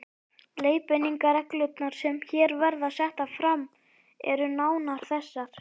Leiðbeiningarreglurnar, sem hér verða settar fram, eru nánar þessar